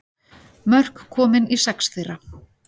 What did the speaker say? Mörk komin í sex þeirra